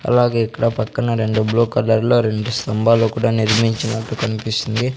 అలాగే ఇక్కడ పక్కన రెండు బ్లూ కలర్లో రెండు స్తంభాలు కూడా నిర్మించినట్టు కనిపిస్తుంది.